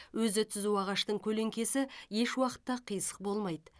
өзі түзу ағаштың көлеңкесі еш уақытта қисық болмайды